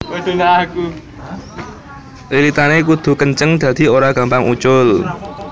Lilitané kudu kenceng dadi ora gampang ucul